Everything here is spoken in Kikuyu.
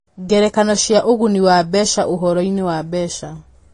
Ngerekano cia Ũguni wa Mbeca Ũhoro-inĩ wa Mbeca